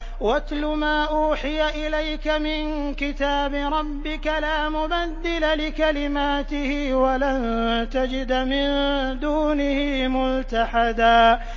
وَاتْلُ مَا أُوحِيَ إِلَيْكَ مِن كِتَابِ رَبِّكَ ۖ لَا مُبَدِّلَ لِكَلِمَاتِهِ وَلَن تَجِدَ مِن دُونِهِ مُلْتَحَدًا